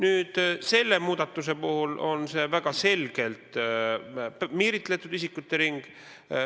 Seevastu selle muudatuse puhul on tegemist väga selgelt piiritletud isikute ringiga.